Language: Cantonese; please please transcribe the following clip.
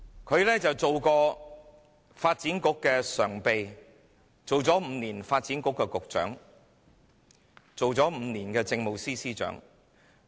她曾擔任發展局常任秘書長、5年發展局局長，也擔任了5年政務司司長。